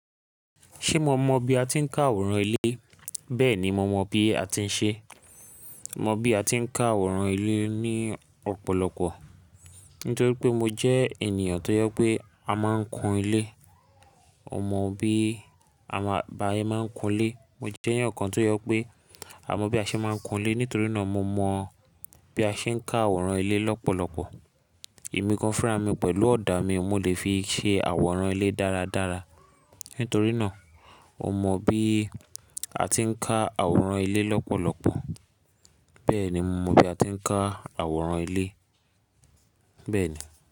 Ṣé mo mọ bí a ti ń ká àwòrán ilé? Bẹ́ẹ̀ni, mo mọ bí a ti ń ṣe é. Mo mọ bí a ti ń ká àwòrán ilé ní ọ̀pọ̀lọpọ̀ nítorí pé mo jẹ́ ènìyàn tó je pé a máa ń kun ilé. Mo mọ bí a máa ń, ba yẹ máa ń kun ilé. Mo jẹ́ ẹeyan kan tó yọ pé a mọ bí a ṣe máa ń kun ilé nítorí náà mo mọ bí a ṣe ń ká àwòrán ilé lọ́pọ̀lọpọ̀. Emí kan fúnra mi pẹ̀lú ọ̀dà mi, mo lè fi ṣe àwòrán ilé dáradára. Nítorí náà, mo mọ bí a ti ń ká àwòrán ilé lọ́pọ̀lọpọ̀. Bẹ́ẹ̀ni, mo mọ bí a ti ń ká àwòrán ilé, bẹ́ẹ̀ni.